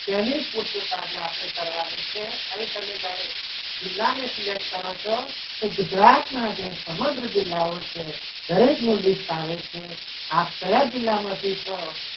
તેની પૂછતા જો આપણે કરવાની છે અહીં તમે જ્યારે જિલ્લાની select કરો છો તો ગુજરાતના જે સમગ્ર જિલ્લાઓ છે દરેકનું list આવે છે આપ કયા જિલ્લામાંથી છો.